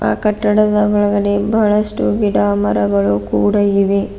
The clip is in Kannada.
ಆ ಕಟ್ಟಡದ ಒಳಗಡೆ ಬಹಳಷ್ಟು ಗಿಡ ಮರಗಳು ಕೂಡ ಇವೆ.